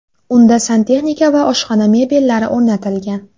Unda santexnika va oshxona mebellari o‘rnatilgan.